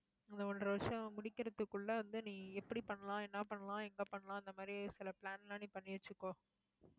இந்த ஒன்றரை வருஷம் முடிக்கிறதுக்குள்ள வந்து, நீ எப்படி பண்ணலாம் என்ன பண்ணலாம் எங்க பண்ணலாம் அந்த மாதிரி சில plan எல்லாம் நீ பண்ணி வச்சுக்கோ